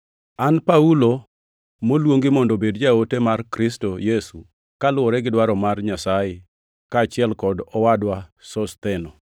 An Paulo, moluongi mondo obed jaote mar Kristo Yesu kaluwore gi dwaro mar Nyasaye kaachiel kod owadwa Sostheno,